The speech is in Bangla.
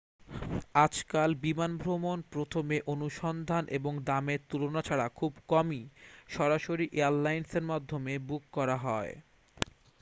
আজকাল বিমান ভ্রমণ প্রথমে অনুসন্ধান এবং দামের তুলনা ছাড়া খুব কমই সরাসরি এয়ারলাইনের মাধ্যমে বুক করা হয়